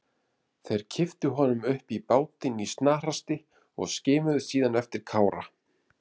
Þeir kipptu honum upp í bátinn í snarhasti og skimuðu síðan eftir Kára.